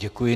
Děkuji.